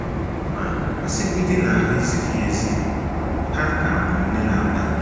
Ma a sịgodị na ha ezighị ezi, ha ka bụ nne na nna m.